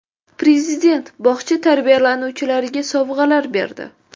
Prezident bog‘cha tarbiyalanuvchilariga sovg‘alar berdi.